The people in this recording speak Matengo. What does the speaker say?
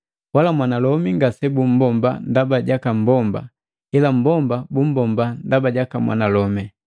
Wala mwanalomi ngasebumbomba ndaba jaka mmbomba, ila mmbomba bumbomba ndaba jaka mwanalomi.